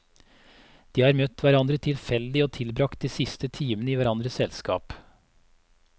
De har møtt hverandre tilfeldig og tilbragt de siste timene i hverandres selskap.